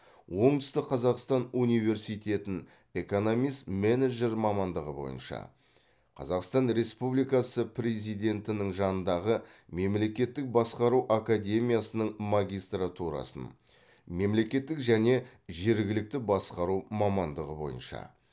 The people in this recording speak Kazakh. оңтүстік қазақстан университетін экономист менеджер мамандығы бойынша қазақстан республикасы президентінің жанындағы мемлекеттік басқару академиясының магистратурасын мемлекеттік және жергілікті басқару мамандығы бойынша